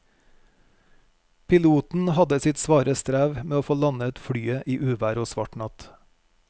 Piloten hadde sitt svare strev med å få landet flyet i uvær og svart natt.